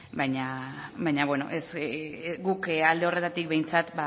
da baina guk alde horretatik behintzat